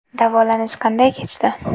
Davolanish qanday kechdi?